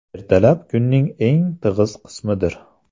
Ertalab kunning eng tig‘iz qismidir.